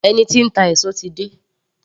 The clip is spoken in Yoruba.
Ẹni tí ń ta èso ti dé